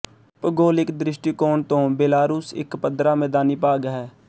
ਭੂਗੋਲਿਕ ਦ੍ਰਿਸ਼ਟੀਕੋਣ ਤੋਂ ਬੇਲਾਰੂਸ ਇੱਕ ਪੱਧਰਾ ਮੈਦਾਨੀ ਭਾਗ ਹੈ